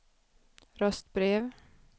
röstbrev